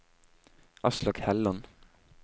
Aslak Helland